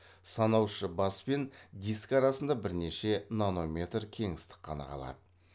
санаушы бас пен диск арасында бірнеше нанометр кеңістік қана қалады